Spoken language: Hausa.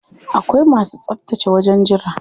Akwai masu tsaftace wajen jira.